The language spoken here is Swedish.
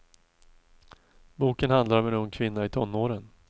Boken handlar om en ung kvinna i tonåren.